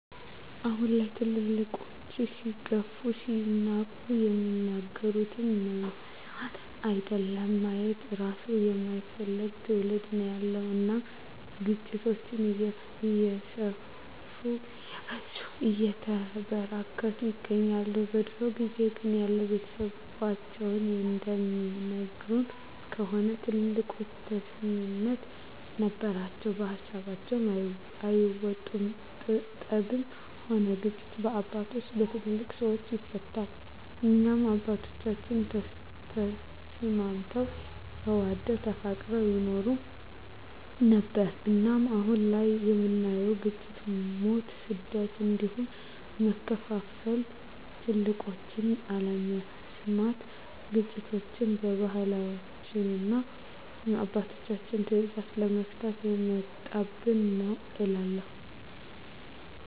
አሁን ላይ ትልልቆች ሲገፉ ሲናቁ የሚናገሩትን መስማት አይደለም ማየት እራሱ የማይፈልግ ትዉልድ ነዉ ያለዉ እናም ግጭቶች እየሰፉ እየበዙ እየተበራከቱ ይገኛል። በድሮ ጊዜ ግን ያዉ ቤተሰቦቻችን እንደሚነግሩን ከሆነ ትልልቆች ተሰሚነት ነበራቸዉ ከሀሳባቸዉ አይወጡም ጠብም ሆነ ግጭት በአባቶች(በትልልቅ ሰወች) ይፈታል እናም አባቶቻችን ተስማምተዉ ተዋደዉ ተፋቅረዉ ይኖሩ ነበር። እናም አሁን ላይ የምናየዉ ግጭ፣ ሞት፣ ስደት እንዲሁም መከፋፋል ትልቆችን አለመስማት ግጭቶችችን በባህላችንና እና በአባቶች ትእዛዝ አለመፍታት የመጣብን ነዉ እላለሁ።